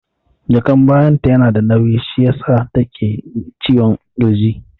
Jakan bayan ta yana da nauyi shi yasa take jin ciwon ƙirji